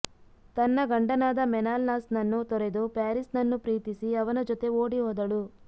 ತನ್ನ ಗಂಡನಾದ ಮೆನಲಾಸ್ನನ್ನು ತೊರೆದು ಪ್ಯಾರಿಸ್ನನ್ನು ಪ್ರೀತಿಸಿ ಅವನ ಜೊತೆ ಓಡಿಹೋದಳು